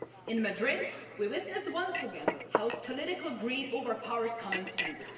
In Madrid, we witnessed once again how political greed overpowers common sense.